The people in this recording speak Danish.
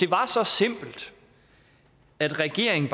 var så simpelt at regeringen